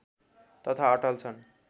तथा अटल छन्